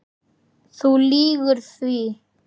Þú lýgur því.